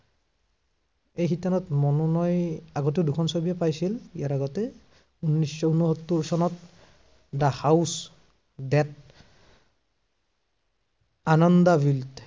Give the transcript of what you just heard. এই শিতানত মনোনয় আগতে দুখন ছবিয়ে পাইছিল, ইয়াৰ আগতে, উনৈচশ উনসত্তৰ চনত, the house that Anand the built